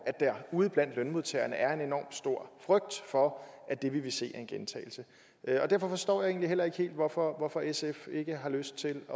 at der ude blandt lønmodtagerne er en enorm stor frygt for at det vi vil se er en gentagelse derfor forstår jeg egentlig heller ikke helt hvorfor hvorfor sf ikke har lyst til